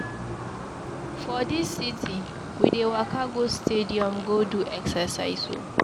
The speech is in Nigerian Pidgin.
For dis city, we dey waka go stadium go do exercise o.